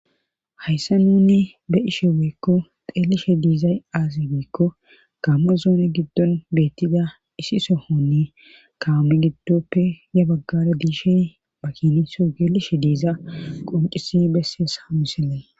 hayssa nuni be ishe weekko xeelishe diizay aazi beekko kaame zoone giddon beettida isi sohonni kaame giddoppe ya baggada diishe bakiniho geelishe diiza qoncisi bessees hamisilley